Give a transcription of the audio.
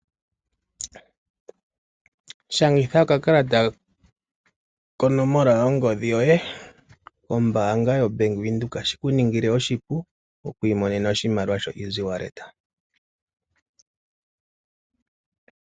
Shangitha okakalata konomola yongodhi yoye kombaanga yaWindhoek, opo shi ku ningile oshipu oku imonena oshimaliwa shoEasy Wallet